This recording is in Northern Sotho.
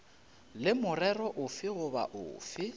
le morero ofe goba ofe